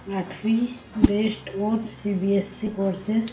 आठवीं best more CBSE courses